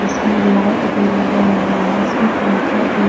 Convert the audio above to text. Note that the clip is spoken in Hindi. इसमें लाइट भी लगा हुआ है इसमें पंखा भी है।